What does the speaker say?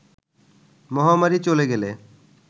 মহামারি চলে গেলে